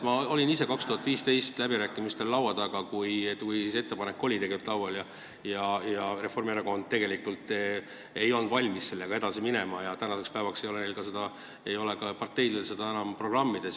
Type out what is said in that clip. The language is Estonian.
Ma olin ise 2015. aastal läbirääkimistel, kui see ettepanek oli laual ja Reformierakond ei olnud valmis sellega edasi minema, tänaseks päevaks ei ole nende parteil seda enam ka programmis.